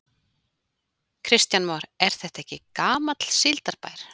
Kristján Már: Er þetta ekki gamall síldarbær?